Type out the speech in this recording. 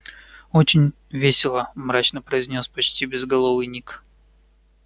очень весело мрачно произнёс почти безголовый ник